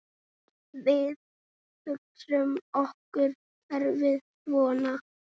Við hugsum okkur kerfið svona